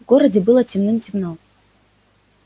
в городе было темным-темно